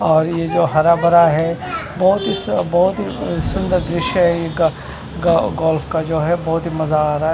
और ये जो हरा भरा है बहुत ही स बहुत ही अ सुन्दर दृश्य है ये ग ग गोल्फ का जो है बहुत ही मज़ा आ रहा है।